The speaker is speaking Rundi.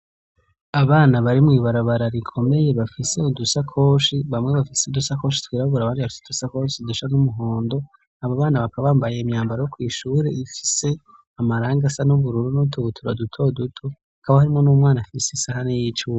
Abana bari mw'ibarabara rikomeye bafise udusakoshi bamwe bafise udusakoshi twirabura abandi bafise udusakoshi dusa n'umuhondo. Abobana bakaba bambaye imyambaro yo kw'ishure ifise amarangi asa n'ubururu n'utubutura dutoduto, hakaba harimwo n'umwana afise isahani y'icuma.